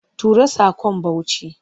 Tura saƙon Bauchi!